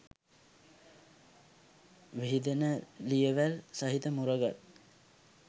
විහිදෙන ලියවැල් සහිත මුරගල්